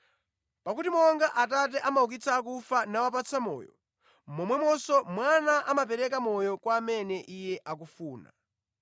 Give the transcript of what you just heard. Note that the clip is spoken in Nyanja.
Pakuti monga Atate amaukitsa akufa nawapatsa moyo, momwemonso Mwana amapereka moyo kwa amene Iye akufuna.